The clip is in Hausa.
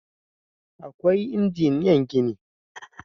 Akwai injiniyan gini